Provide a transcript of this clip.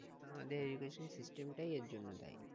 আমাদের education system টাই এর জন্য দায়ী